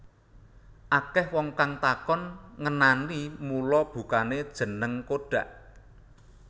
Akah wong kang takon ngenani mula bukane jeneng Kodak